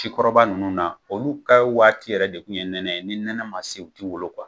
Ci kɔrɔba ninnu na, olu ka waati yɛrɛ de kun ye nɛnɛ ye, ni nɛnɛ ma se o ti wolo